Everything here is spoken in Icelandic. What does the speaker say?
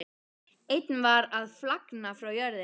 Einn var að flagna frá jörðinni.